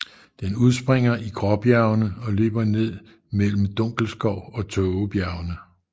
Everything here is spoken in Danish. Den udspringer i Gråbjergene og løber ned mellem Dunkelskov og Tågebjernene